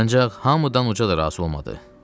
Ancaq hamıdan uca da razı olmadı.